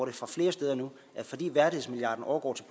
det fra flere sider nu at fordi værdighedsmilliarden overgår til